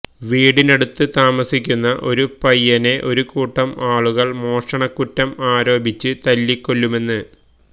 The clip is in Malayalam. വീടിനടുത്ത് താമസിക്കുന്ന ഒരു പയ്യനെ ഒരു കൂട്ടം ആളുകള് മോഷണക്കുറ്റം ആരോപിച്ച് തല്ലിക്കൊല്ലുമെന്ന്